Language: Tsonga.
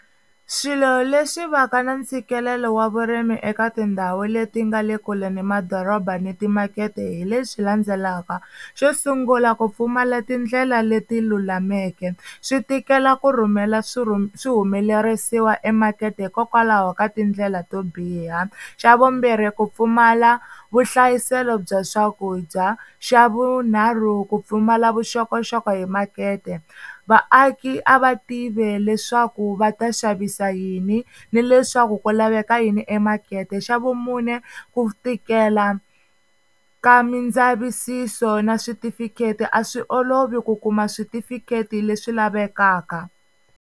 Swilo leswi va ka na ntshikelelo wa vurimi eka tindhawu leti nga le kule ni madoroba ni timakete hi leswi landzelaka, xo sungula ku pfumala tindlela leti lulameke swi tikela ku rhumela swihumelerisiwa emakete hikokwalaho ka tindlela to biha, xa vumbirhi ku pfumala vuhlayiselo bya swakudya, xa vunharhu ku pfumala vuxokoxoko hi makete vaaki a va tivi leswaku va ta xavisa yini ni leswaku ku laveka yini emakete xa vumune ku tikela ka mindzavisiso na switifikheti a swi olovi ku kuma switifikheti leswi lavekaka.